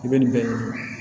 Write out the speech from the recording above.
I bɛ nin bɛɛ